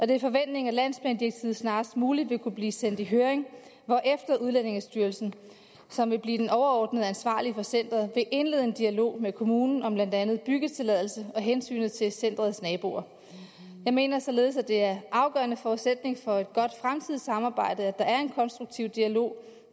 det er forventningen at landsplandirektivet snarest muligt vil kunne blive sendt i høring hvorefter udlændingestyrelsen som vil blive den overordnede ansvarlige for centeret vil indlede en dialog med kommunen om blandt andet byggetilladelse og hensynet til centerets naboer jeg mener således at det er en afgørende forudsætning for et godt fremtidigt samarbejde at der er en konstruktiv dialog